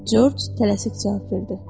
Corc tələsik cavab verdi: